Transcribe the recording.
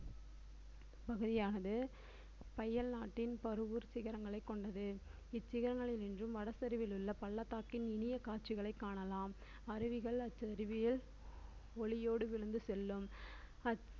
பகுதியானது அயல்நாட்டின் பருவூர் சிகரங்களை கொண்டது இச்சிகரங்களை நின்றும் வடசெருவிலுள்ள பள்ளத்தாக்கின் இனிய காட்சிகளை காணலாம் அருவிகள் அச்சருவியல் ஒளியோடு விழுந்து செல்லும்